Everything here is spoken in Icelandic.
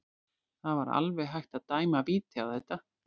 Það var alveg hægt að dæma víti á þetta.